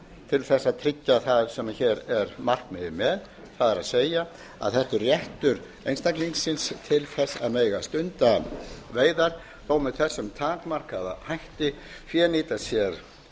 til að tryggja það sem hér er markmiðið með það er það sé réttur einstaklingsins til að mega stunda veiðar þó með þessum takmarkaða hætti fénýta sér